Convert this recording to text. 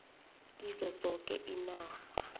kizo zoke iinarha